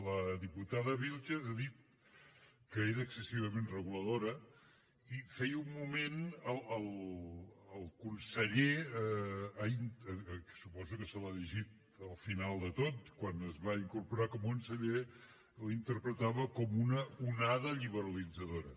la diputada vílchez ha dit que era excessivament reguladora i feia un moment el conseller que suposo que se l’ha llegit al final de tot quan es va incorporar com a conseller la interpretava com una onada liberalitzadora